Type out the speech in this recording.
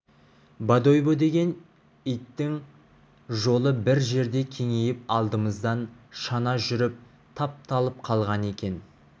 бодойбо деген иттің жолы бір жерде кеңейіп алдымыздан шана жүріп тапталып қалған екен